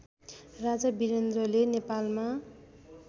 राजा वीरेन्द्रले नेपालमा